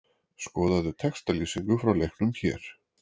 Skoðaðu textalýsingu frá leiknum hér